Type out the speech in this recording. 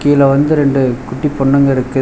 இதுல வந்து ரெண்டு குட்டி பொண்ணுங்க இருக்குது.